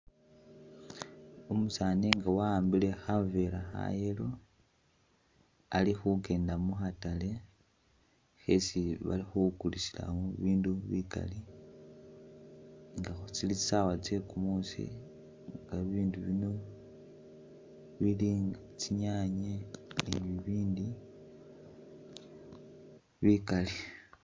Umusaani nga wawambile khavela kha yellow ali khukend a mu khatale khesi bali khukulisilamo bibindu bikali nga tsili khusawa tse kumusi nga bibindu bino bili tsinyanye ni bibindi bikali